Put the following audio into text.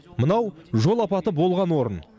мынау жол апаты болған орын